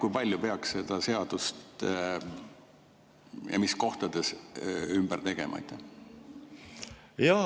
Kui palju peaks seda seadust ja mis kohtades ümber tegema?